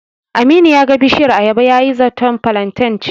Aminu ya ga bishiyar ayaba yayi zaton filanten ce.